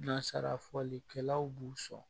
Nasara fɔlikɛlaw b'u sɔn